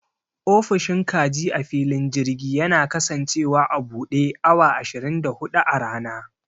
Ofishin kaji a filin girji yana kasancewa a buɗe awa ashirin da huɗu a rana.